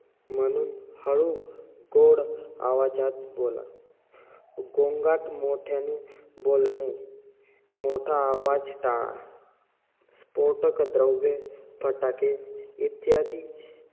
म्हणून हळू, गोड आवाजात बोला. गोगांट, मोठ्याने बोलणे, मोठा आवाज टाळा. स्फोटक द्रव्य, फटाके इत्यादी,